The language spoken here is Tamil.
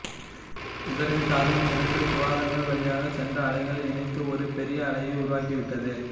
இதற்கு காரணம் இரண்டு துவாரங்கள் வழியாக சென்ற அலைகள் இணைந்து ஒரு பெரிய அலையை உருவாக்கிவிட்டது